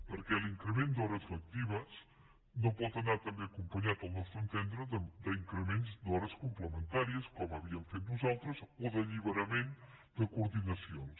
perquè l’increment d’hores lectives no pot anar també acompanyat al nostre entendre d’increments d’hores complementàries com havíem fet nosaltres o d’alliberament de coordinacions